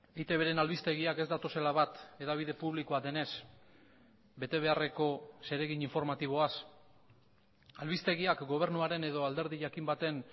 eitbren albistegiak ez datozela bat hedabide publikoa denez betebeharreko zeregin informatiboaz albistegiak gobernuaren edo alderdi jakin baten